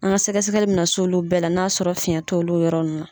An ka sɛgɛsɛgɛli bɛ na s'olu bɛɛ la, n'a ya sɔrɔ fiɲɛ t'olu yɔrɔ nunnu na.